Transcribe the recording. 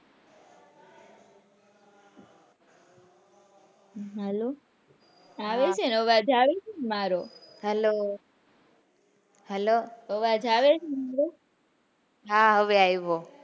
Hello આવે છે ને અવાજ આવે છે ને મારો hello, hello આવાજ આવે છે હા હવે આવ્યો.